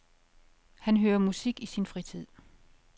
Han hører musik i sin fritid.